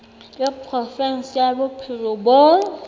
wa provinse ya bophelo bo